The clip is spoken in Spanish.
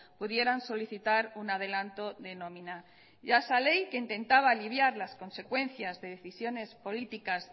pudieran solicitar un adelanto de nómina y a esa ley que intentaba aliviar las consecuencias de decisiones políticas